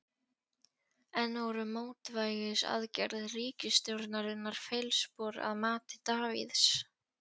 En voru mótvægisaðgerðir ríkisstjórnarinnar feilspor að mati Davíðs?